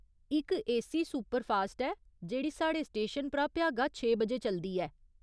इक AC superfast ऐ जेह्ड़ी साढ़े स्टेशन परा भ्यागा छे बजे चलदी ऐ।